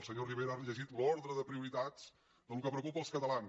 el senyor rivera ha llegit l’ordre de prioritats del que preocupa als catalans